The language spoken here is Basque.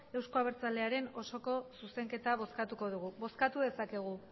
euzko abertzalearen osoko zuzenketa bozkatuko dugu bozkatu dezakegu